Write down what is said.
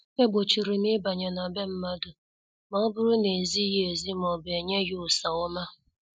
E gbochirim ịbanye n' be mmadụ ma ọbụrụ na- ezighị ezi maọbụ enyeghi usa ọma.